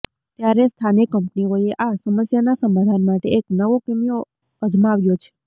ત્યારે સ્થાનિક કંપનીઓએ આ સમસ્યાના સમાધાન માટે એક નવો કીમિયો અજમાવ્યો છે